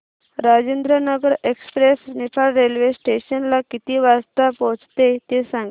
Rajendranagar express Niphad railway station ला किती वाजता पोहचते ते सांग